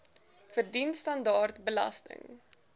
verdien standaard belasting